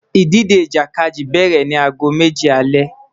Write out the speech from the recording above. Idije Ijakadi bẹrẹ ni aago meji alẹ